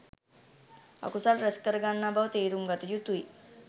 අකුසල් රැස් කර ගන්නා බව තේරුම් ගත යුතුයි.